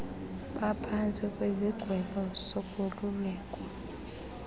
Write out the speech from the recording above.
baphantsi kwesigwebo sokolulekwa